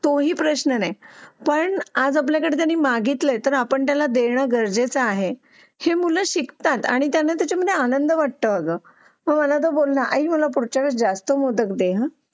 तोही प्रश्न नाही पण त्याने मागितले तर आपण त्याला देणे गरजेचे आहे ही मुलं शिकतात आणि त्यांना त्याच्यामध्ये आनंद वाटतो आहे बघ ना आई मला पुढच्या जास्त मोदक दे हा